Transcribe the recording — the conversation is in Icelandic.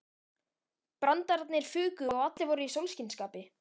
Brandararnir fuku og allir voru í sólskinsskapi.